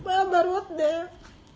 мама родная